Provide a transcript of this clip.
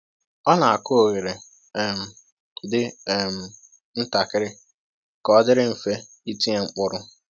Ọ na-akụ oghere um dị um ntakịrị ka ọ dịrị mfe itinye mkpụrụ.